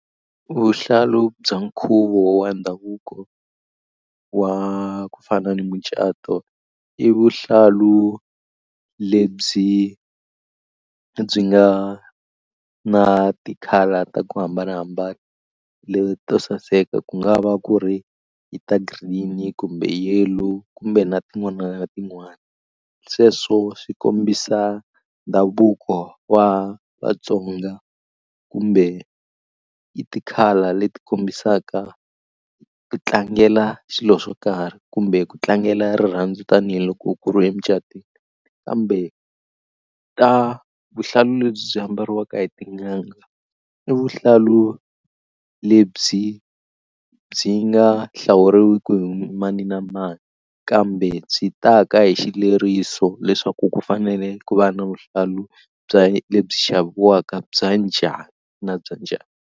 Vuhlalu bya nkhuvo wa ndhavuko wa ku fana ni mucato i vuhlalu lebyi byi nga na ti-colour ta ku hambanahambana leto saseka ku nga va ku ri ta green kumbe yellow kumbe na tin'wana na tin'wana sweswo swi kombisa ndhavuko wa Vatsonga kumbe i ti-colour leti kombisaka ku tlangela xilo xo karhi kumbe ku tlangela rirhandzu tanihiloko ku ri emucatweni kambe ta vuhlalu lebyi byi ambariwaka hi tin'anga i vuhlalu lebyi byi nga hlawuriweke hi mani na mani kambe byi ta ka hi xileri mso leswaku ku fanele ku va na vuhlalu bya lebyi xaviwaka bya njhani na bya njhani.